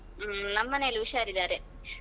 ಹ್ಮ್ ನಮ್ ಮನೇಲಿ ಉಷಾರಿದ್ದಾರೆ.